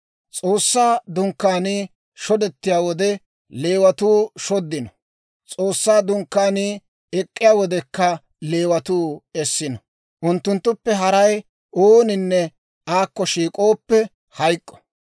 S'oossaa Dunkkaanii shodettiyaa wode Leewatuu shoddino; S'oossaa Dunkkaanii ek'k'iyaa wodekka Leewatuu essino. Unttunttuppe haray ooninne aakko shiik'ooppe, hayk'k'o.